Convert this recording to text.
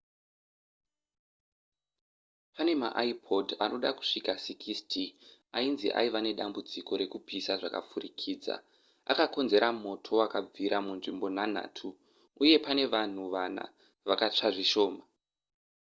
pane maipod anoda kusvika 60 ainzi aiva nedambudziko rekupisa zvakapfurikidza akakonzera moto wakabvira munzvimbo nhanhatu uye pane vanhu vana vakatsva zvishoma